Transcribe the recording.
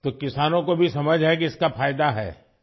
تو کسانوں کو بھی سمجھ ہے کہ اس کا فائدہ ہے ؟